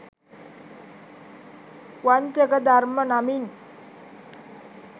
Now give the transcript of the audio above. වංචක ධර්ම නමින්